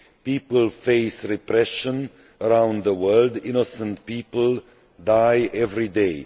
People face repression around the world and innocent people die every day.